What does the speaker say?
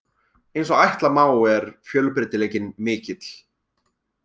Eins og ætla má er fjölbreytileikinn mikill.